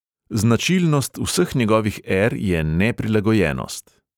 Značilnost vseh njegovih er je neprilagojenost.